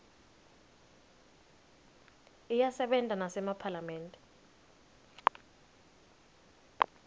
iyasebenta nasema phalamende